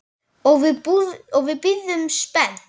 Og við bíðum spennt.